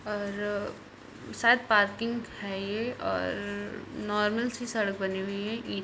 और शायद पार्किंग है ये और नार्मल सी सड़क बानी हुई--